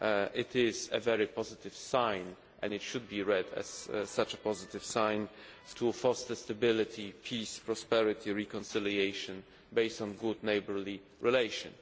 It is a very positive sign and it should be read as such a positive sign to foster stability, peace, prosperity and reconciliation based on good neighbourly relations.